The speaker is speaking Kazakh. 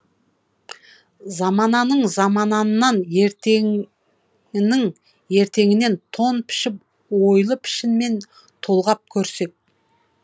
замананың заманынан ертеңінің ертеңінен тон пішіп ойлы пішінмен толғап көрсек